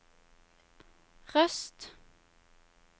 Røst